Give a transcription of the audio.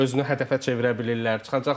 Özünü hədəfə çevirə bilirlər.